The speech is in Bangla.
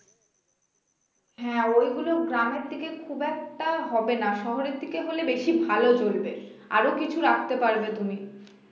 হ্যাঁ ওইগুলো গ্রামের দিকে খুব একটা হবে না শহরের দিকে হলে বেশি ভালো চলবে আরো কিছু রাখতে পারবে তুমি